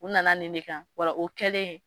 U nana nin de kan ola o kɛlen.